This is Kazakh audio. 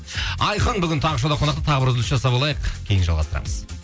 айқын бүгін таңғы шоуда қонақта тағы бір үзіліс жасап алайық кейін жалғастырамыз